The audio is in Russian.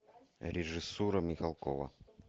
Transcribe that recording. режиссура михалкова